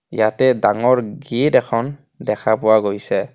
ইয়াতে ডাঙৰ গেট এখন দেখা পোৱা গৈছে.